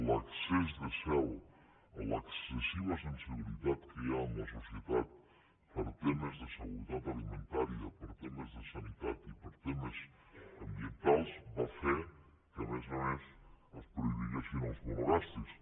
l’excés de zel l’excessiva sensibilitat que hi ha en la societat per temes de seguretat alimentària per temes de sanitat i per temes ambientals va fer que a més a més es prohibís amb els monogàstrics